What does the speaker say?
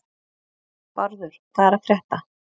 Bárður, hvað er að frétta?